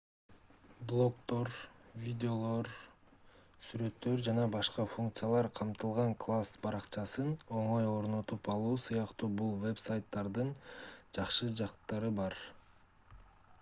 блогдор видеолор сүрөттөр ж.б. функциялар камтылган класс баракчасын оңой орнотуп алуу сыяктуу бул вебсайттардын жакшы жактары бар